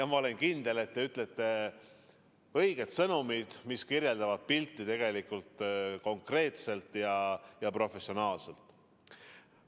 Ma olen kindel, et te ütlete õiged sõnad, mis kirjeldavad pilti konkreetselt ja professionaalselt.